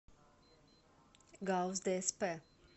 гауз дсп